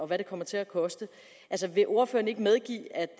hvad det kommer til at koste vil ordføreren ikke medgive at